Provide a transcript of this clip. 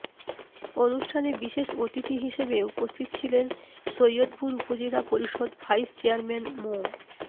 অনুষ্ঠানে বিশেষ অতিথি হিসেবে উপস্থিত ছিলেন সৈয়দপুর উপজেলা পরিষদ ভাইস চেয়ারম্যান মো